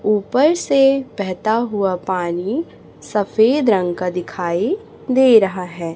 ऊपर से बहेता हुआ पानी सफेद रंग का दिखाई दे रहा है।